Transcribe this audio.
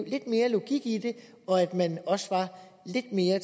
lidt mere logik i det og at man også var lidt mere